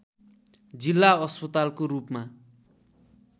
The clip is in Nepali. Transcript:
जिल्ला अस्पतालको रूपमा